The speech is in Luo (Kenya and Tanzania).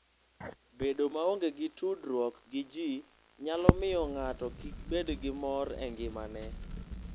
Bedo maonge gi tudruok gi ji nyalo miyo ng'ato kik bed gi mor e ngimane.